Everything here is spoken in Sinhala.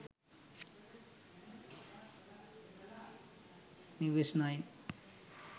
news 9